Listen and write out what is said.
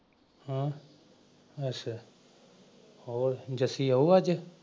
ਹਾਂ। ਅੱਛਾ ਹੋਰ ਜੱਸੀ ਆਊ ਅੱਜ?